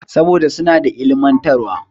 Saboda suna da ilimantarwa.